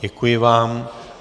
Děkuji vám.